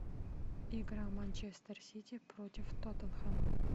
игра манчестер сити против тоттенхэма